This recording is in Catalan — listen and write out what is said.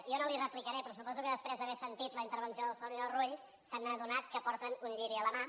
jo no li replicaré però suposo que després d’haver sentit la intervenció del senyor rull s’han adonat que porten un lliri a la mà